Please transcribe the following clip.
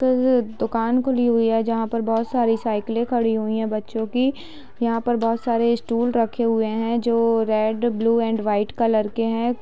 तो वो दुकान खुली हुई है जहा पर बहुत साडी साइकिलें खड़ी हुई हैं बच्चो की | यहाँ पर बहुत सारे स्टूल रखे हुए हैं जो red blue and white colour के हैं |